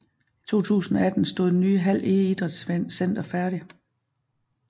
I 2018 stod det nye Hald Ege Idrætscenter færdigt